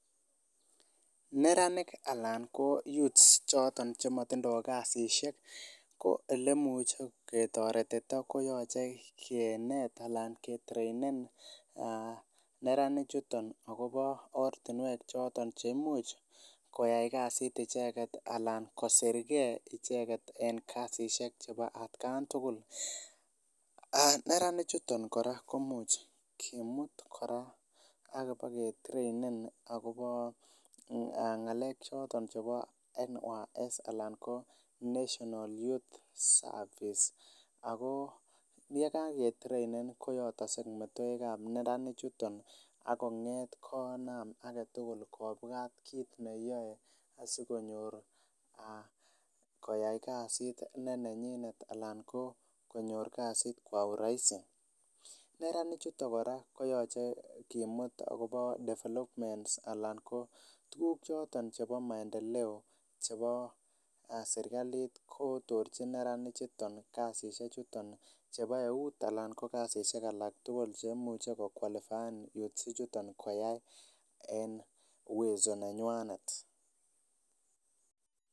Neranik anan ko youths choton chemotindoo kasisiek ko elemuche ketoretito koyoche kinet anan kitreinen neranik chuton akobo ortinwek choton cheimuch koyai kasit icheket anan kosirgee icheket en kasisiek chebo atkan tugul, neranik chuton kora komuch kimut kora ak bokitreinen akobo ng'alek choton chebo National Youth Service anan ko National Youth Service ako yekaketreinen koyotokse metoek ab neranik chuton ak kong'eet konam aketugul kit neyoe asikonyor koyai kasit ne nenyinet anan ko konyor kasit kwa urahisi neranik chuton kora koyoche kimut akobo developments anan ko tuguk choton chebo maendeleo chebo serkalit kotorchi neranik chuton kasisiek chuton chebo eut anan ko kasisiek alak tugul cheimuche ko kwalifaen youths ichuton koyai en uwezo nenywanet